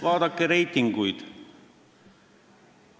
Vaadake reitinguid!